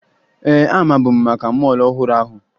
Ee, amabu m maka mọọlụ ọhụrụ ahụ